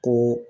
Ko